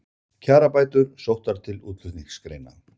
Kjarabætur sóttar til útflutningsgreina